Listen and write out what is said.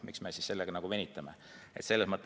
Miks me sellega venitame?